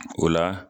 O la